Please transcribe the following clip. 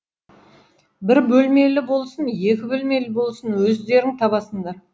бір бөлмелі болсын екі бөлмелі болсын өздерің табасыңдар